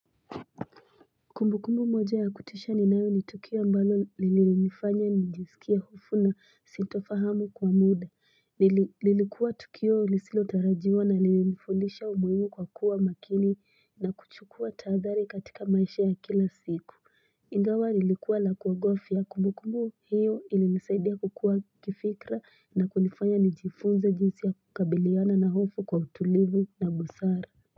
Kumbu kumbu moja ya kutisha ninayo ni Tukio ambalo lililinifanya nijisikie hofu na sitafahamu kwa muda lilikuwa Tukio ilisilo tarajiwa na lilifundisha umuimu kwa kuwa makini na kuchukua tahadhari katika maisha ya kila siku Ingawa lilikuwa lakuogofya kumbu kumbu hiyo ili nisaidia kukua kifikra na kunifanya nijifunze jinsi ya kukabiliana na hofu kwa utulivu na busara.